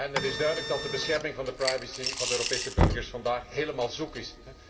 Het is duidelijk dat de bescherming van de privacy van de Europese burgers vandaag helemaal zoek is.